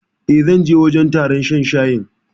E, zan je wajen taron shan shayin.